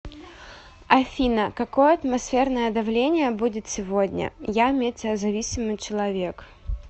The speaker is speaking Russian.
афина какое атмосферное давление будет сегодня я метеозависимый человек